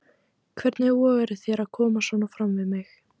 Hvernig vogarðu þér að koma svona fram við mig!